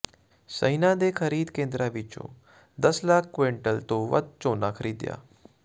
ਸ਼ਹਿਣਾ ਦੇ ਖਰੀਦ ਕੇਂਦਰਾਂ ਵਿੱਚੋਂ ਦਸ ਲੱਖ ਕੁਇੰਟਲ ਤੋਂ ਵੱਧ ਝੋਨਾ ਖਰੀਦਿਆ